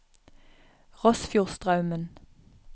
Rossfjordstraumen